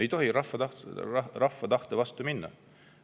Ei tohi rahva tahte vastu minna!